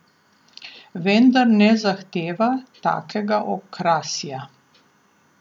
Vendar ne zahteva takega okrasja.